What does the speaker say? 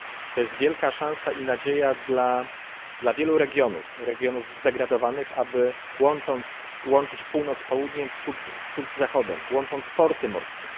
To jest wielka szansa i nadzieja dla wielu regionów, regionów zdegradowanych, aby łączyć Północ z Południem, Wschód z Zachodem, łączyć porty morskie.